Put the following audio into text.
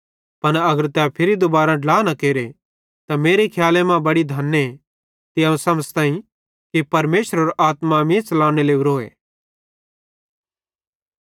पन अगर तै फिरी दुबारां ड्ला न केरे त मेरे खियाले मां बड़ी धने ते अवं समझ़ताईं कि परमेशरेरो आत्मा मीं च़लाने लोरीए